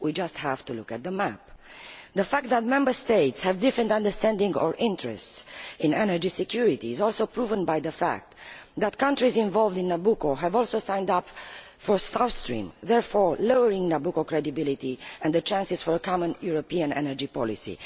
We just have to look at the map. The fact that Member States have different interpretations of, or interests in, energy security is also proven by the fact that some countries involved in Nabucco have also signed up for South Stream, thereby lowering Nabucco's credibility and the chances for a common European energy policy.